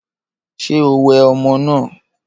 Ṣé o wẹ ọmọ náà?